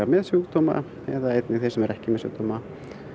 með sjúkdóma eða einnig þeir sem eru ekki með sjúkdóma